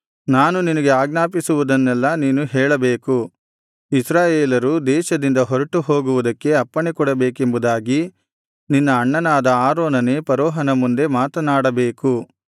ನಾನು ನಿನಗೆ ಆಜ್ಞಾಪಿಸುವುದ್ದನ್ನೆಲ್ಲಾ ನೀನು ಹೇಳಬೇಕು ಇಸ್ರಾಯೇಲರು ದೇಶದಿಂದ ಹೊರಟುಹೋಗುವುದಕ್ಕೆ ಅಪ್ಪಣೆಕೊಡಬೇಕೆಂಬುದಾಗಿ ನಿನ್ನ ಅಣ್ಣನಾದ ಆರೋನನೇ ಫರೋಹನ ಮುಂದೆ ಮಾತನಾಡಬೇಕು